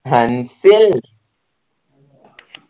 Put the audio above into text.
Ansil